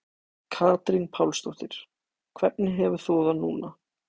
Katrín Pálsdóttir: Hvernig hefur þú það núna?